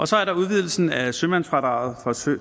så er der udvidelsen af sømandsfradraget